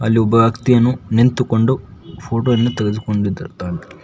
ಅಲ್ಲಿ ಒಬ್ಬ ಅಕ್ತಿಯನು ನಿಂತುಕೊಂಡು ಫೋಟೊ ಯನ್ನು ತೆಗೆದುಕೊಂಡಿರ್ದುತ್ತಾನೆ.